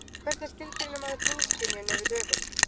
Hvernig skilgreinir maður húðskynjun yfir höfuð?